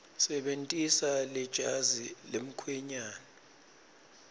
sebentisa lejazi lemkhwenyane